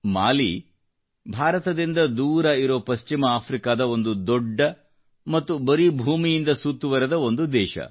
ಮಾಲಿಯು ಭಾರತದಿಂದ ದೂರವಿರುವ ಪಶ್ಚಿಮ ಆಫ್ರಿಕಾದ ಒಂದು ದೊಡ್ಡ ಮತ್ತು ಬರೀ ಭೂಪ್ರದೇಶದಿಂದ ಸುತ್ತುವರಿದ ಒಂದು ದೇಶ